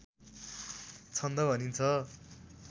छन्द भनिन्छ